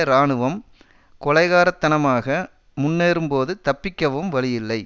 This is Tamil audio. இராணுவம் கொலைகாரத்தனாமாக முன்னேறும்போது தப்பிக்கவும் வழி இல்லை